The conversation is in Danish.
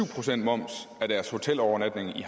procent moms af deres hotelovernatning i